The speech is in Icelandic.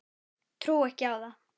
Trúi ekki á það.